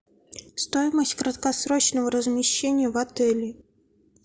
стоимость краткосрочного размещения в отеле